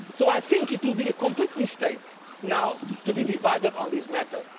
So I think it would be a complete mistake now to be divided on this matter